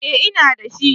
Eh ina da shi.